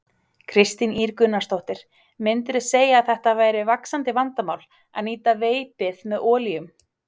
Kristín Ýr Gunnarsdóttir: Myndirðu segja að þetta væri vaxandi vandamál, að nýta veipið með olíum?